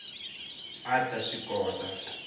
a a ta swi kota